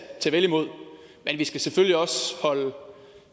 vel imod men vi skal selvfølgelig også holde